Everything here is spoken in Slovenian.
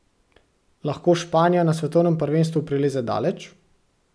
Lahko Španija na svetovnem prvenstvu prileze daleč?